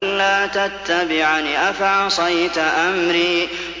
أَلَّا تَتَّبِعَنِ ۖ أَفَعَصَيْتَ أَمْرِي